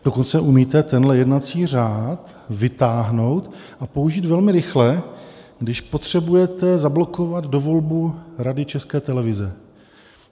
Dokonce umíte tenhle jednací řád vytáhnout a použít velmi rychle, když potřebujete zablokovat dovolbu Rady České televize.